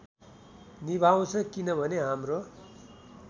निभाउँछ किनभने हाम्रो